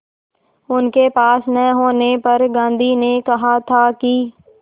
उनके पास न होने पर गांधी ने कहा था कि